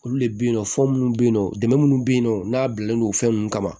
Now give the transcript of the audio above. Olu le be yen nɔ fɔ minnu be yen nɔ dɛmɛ munnu be yen nɔ n'a bilalen no fɛn nunnu kama